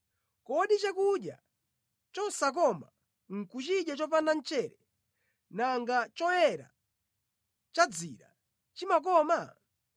Kodi chakudya chosakoma nʼkuchidya chopanda mchere, nanga choyera cha dzira chimakoma?